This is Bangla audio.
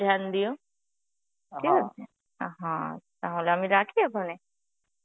ধ্যান দিও. ঠিক আছে? আ হা তাহলে আমি রাখি এখনে.